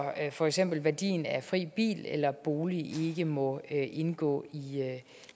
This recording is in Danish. for eksempel værdien af fri bil eller bolig ikke må indgå i